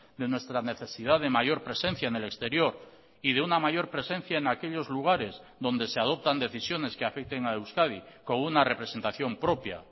de nuestra necesidad de mayor presencia en el exterior y de una mayor presencia en aquellos lugares donde se adoptan decisiones que afecten a euskadi con una representación propia